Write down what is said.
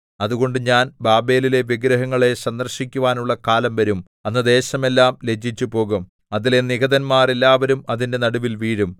അതുകൊണ്ട് ഞാൻ ബാബേലിലെ വിഗ്രഹങ്ങളെ സന്ദർശിക്കുവാനുള്ള കാലം വരും അന്ന് ദേശമെല്ലാം ലജ്ജിച്ചുപോകും അതിലെ നിഹതന്മാർ എല്ലാവരും അതിന്റെ നടുവിൽ വീഴും